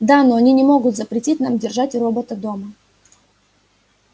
да но они не могут запретить нам держать робота дома